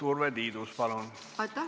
Urve Tiidus, palun!